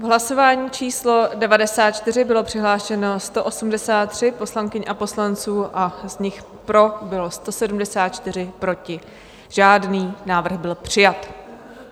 V hlasování číslo 94 bylo přihlášeno 183 poslankyň a poslanců a z nich pro bylo 174, proti žádný, návrh byl přijat.